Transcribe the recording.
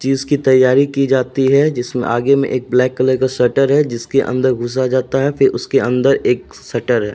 चीज की तैयारी की जाती है। जिसमें आगे में एक ब्लैक कलर का शटर है। जिसके अंदर घुसा जाता है फिर उसके अंदर शटर है।